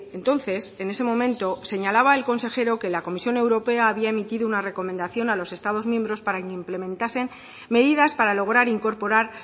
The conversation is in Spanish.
entonces en ese momento señalaba el consejero que la comisión europea había emitido una recomendación a los estados miembros para que implementasen medidas para lograr incorporar